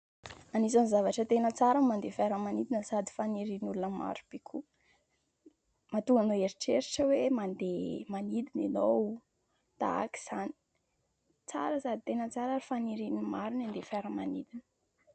Anisan'ny zavatra tena tsara ny mandeha fiaramanidina sady fanirian'ny olona maro be koa. Mahatonga anao hieritreritra hoe : mandeha manidina ianao tahak'izany. Tsara sady tena tsara ary fanirian'ny maro ny handeha fiaramanidina.